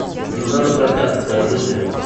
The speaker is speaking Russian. жена на прокат покажи мне